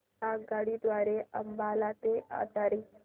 आगगाडी द्वारे अंबाला ते अटारी